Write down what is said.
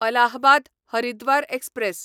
Allahabad Haridwar express